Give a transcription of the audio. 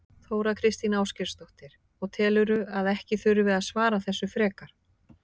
Þóra Kristín Ásgeirsdóttir: Og telurðu að ekki þurfi að svara þessu frekar?